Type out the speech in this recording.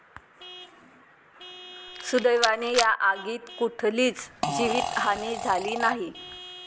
सुदैवाने या आगीत कुठलीच जीवीतहानी झाली नाही.